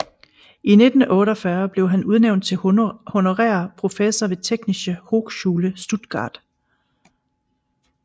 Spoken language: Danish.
I 1948 blev han udnævnt til honorær professor ved Technische Hochschule Stuttgart